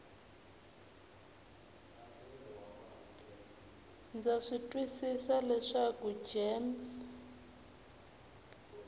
ndza swi twisisa leswaku gems